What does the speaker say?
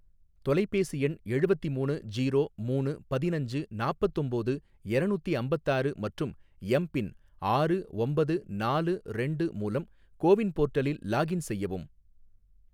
தொலைபேசி எண் எழுவத்தி மூணு ஜீரோ மூணு பதினஞ்சு நாப்பத்தொம்போது எரநூத்தி அம்பத்தாறு மற்றும் எம் பின் ஆறு ஒம்பது நாலு ரெண்டு மூலம் கோவின் போர்ட்டலில் லாகின் செய்யவும்